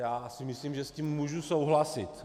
Já si myslím, že s tím můžu souhlasit.